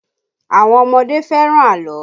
Àwọn ọmọdé fẹ́ràn àlọ́